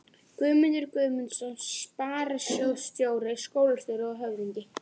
Guðmundur Guðmundsson sparisjóðsstjóri, skólastjóri og höfðingi